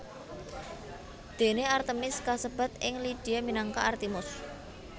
Dene Artemis kasebat ing Lydia minangka Artimus